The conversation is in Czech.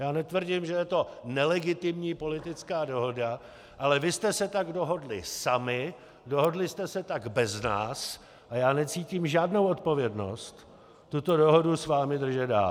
Já netvrdím, že je to nelegitimní politická dohoda, ale vy jste se tak dohodli sami, dohodli jste se tak bez nás a já necítím žádnou odpovědnost tuto dohodu s vámi držet dál.